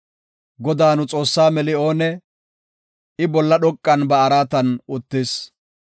Godaa nu Xoossaa meli oonee? I bolla dhoqan ba araatan uttis.